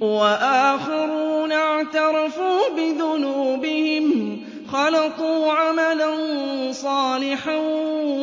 وَآخَرُونَ اعْتَرَفُوا بِذُنُوبِهِمْ خَلَطُوا عَمَلًا صَالِحًا